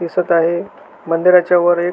दिसत आहे मंदिराच्या वर एक--